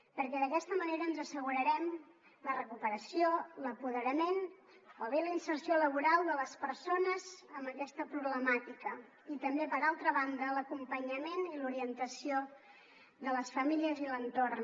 perquè d’aquesta manera ens assegurarem la recuperació l’apoderament o bé la inserció laboral de les persones amb aquesta problemàtica i també per altra banda l’acompanyament i l’orientació de les famílies i l’entorn